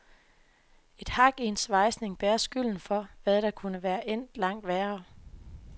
Et hak i en svejsning bærer skylden for, hvad der kunne være endt langt værre.